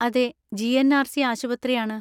അതെ, ജി.എൻ.ആർ.സി. ആശുപത്രിയാണ്.